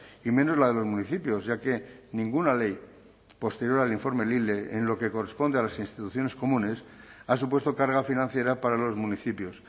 y menos la de los municipios ya que ninguna ley posterior al informe lile en lo que corresponde a las instituciones comunes ha supuesto carga financiera para los municipios